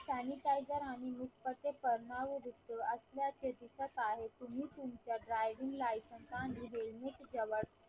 sanitizer जर आम्ही असल्याचे दिसत आहे तुम्ही तुमच्या draving licence आणि helmet जवळ